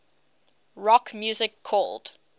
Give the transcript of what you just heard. rock music called